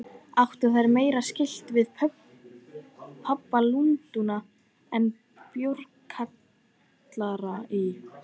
Áttu þær meira skylt við pöbba Lundúna en bjórkjallara í